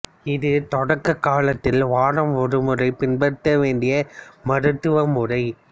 இது தொடக்க காலத்தில் வாரம் ஒருமுறை பின்பற்ற வேண்டிய மருத்துவமுறை